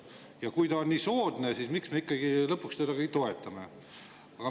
Ja kui see on nii soodne, siis miks me lõpuks seda ikkagi toetame?